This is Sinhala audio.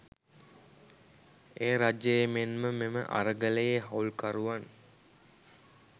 එය රජයේ මෙන්ම මෙම අරගලයේ හවුල්කරුවන්